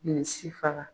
Ni si faga